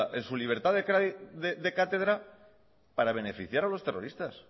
en su libertad de cátedra para beneficiar a los terroristas